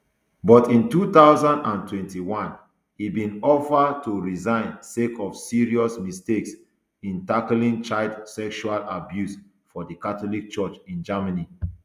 but in two thousand and twenty-one e bin offer to resign sake of serious mistakes in tackling child sexual abuse for di catholic church in germany